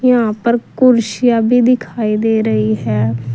यहां पर कुर्सियां भी दिखाई दे रही है।